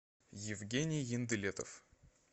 евгений ендылетов